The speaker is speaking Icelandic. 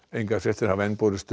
engar fréttir hafa enn borist